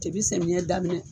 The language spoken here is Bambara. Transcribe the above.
samiyɛ daminɛ